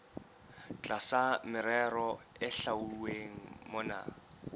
tlasa merero e hlwauweng mona